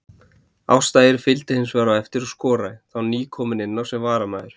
Ásta Eir fylgdi hinsvegar á eftir og skoraði, þá nýkomin inná sem varamaður.